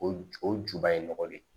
O ju o juba ye nɔgɔ de ye